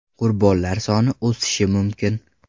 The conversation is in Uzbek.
Qurbonlar soni o‘sishi mumkin.